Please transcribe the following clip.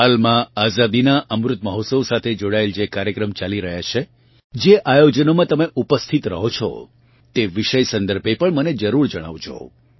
હાલમાં આઝાદીનાં અમૃત મહોત્સવ સાથે જોડાયેલ જે કાર્યક્રમ ચાલી રહ્યાં છે જે આયોજનોમાં તમે ઉપસ્થિત રહો છો તે વિષય સંદર્ભે પણ મને જરૂર જણાવજો